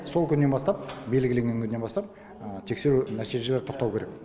сол күннен бастап белгіленген күннен бастап тексеру нәтижелері тоқтауы керек